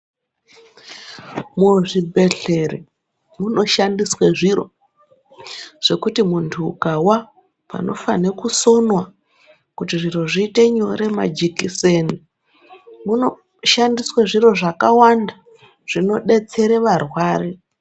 Muzvibhehlera munoshandiswa zviro zvekuti muntu ukawa panofana kusonwa kuti zvinhu zviite nyore, majekiseni, munoshandiswa zviro zvakawanda zvinodetsera varwere.